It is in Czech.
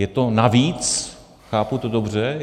Je to navíc, chápu to dobře?